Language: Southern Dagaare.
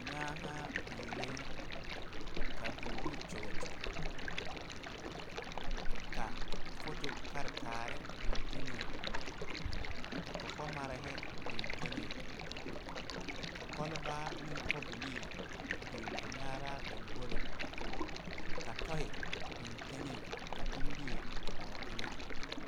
Nyaanaa biŋɛ ka vʋʋ kyoge kyoge ka photo kartaare biŋ teŋɛ ka kɔkɔmare biŋ teŋɛ ka kolbaare ane kobilii biŋ a nyaana lamboriŋ ka toi biŋ teŋɛ ka pimbie ba o eŋɛ.